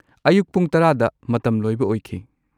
ꯑꯌꯨꯛ ꯄꯨꯡ ꯱꯰ꯗ ꯃꯇꯝ ꯂꯣꯏꯕ ꯑꯣꯏꯈꯤ꯫